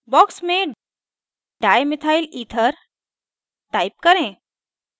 box में dimethyl ether type करें